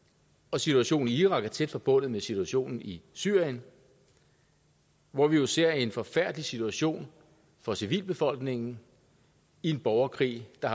situationen i irak er tæt forbundet med situationen i syrien hvor vi jo ser en forfærdelig situation for civilbefolkningen i en borgerkrig der